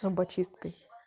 зубочисткой